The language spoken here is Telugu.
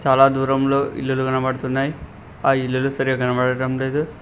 చాలా దూరంలో ఇల్లులు కనపడుతున్నాయ్ ఆ ఇల్లులు సరిగ్గా కనపడటం లేదు.